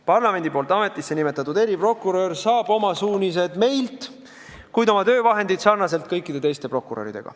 Parlamendi poolt ametisse nimetatud eriprokurör saaks oma suunised meilt, kuid oma töövahendid saaks ta samamoodi nagu kõik teised prokurörid.